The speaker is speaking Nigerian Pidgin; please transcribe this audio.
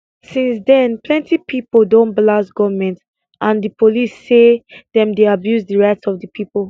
since den plenty pipo don blast goment and di police say dem dey abuse di rights of di pipo